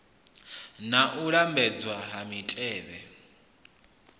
na u lambedzwa ha mitevhe